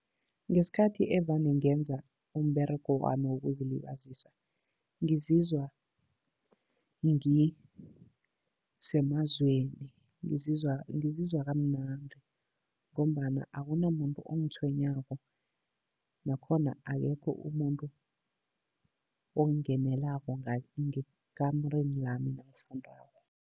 Ngesikhathi evane ngenza umberego wami wokuzilibazisa, ngizizwa ngisemazweni, ngizizwa kamnandi ngombana akunamuntu ongitshwenyako. Nakhona akekho umuntu ongingenelako ngekamureni lami nangifundako.